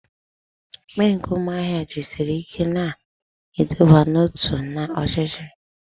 Ekpe nke umuahia jisiri ike na iduba n'otu na ochichi.